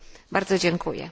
Bardzo dziękuję.